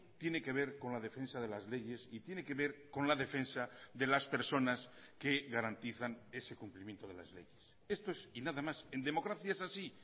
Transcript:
tiene que ver con la defensa de las leyes y tiene que ver con la defensa de las personas que garantizan ese cumplimiento de las leyes esto es y nada más en democracia es así